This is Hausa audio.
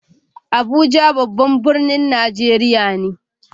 Abuja babban birnin Najeriya ne.